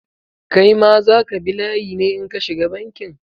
Kai ma za ka bi layi ne in ka shiga bankin?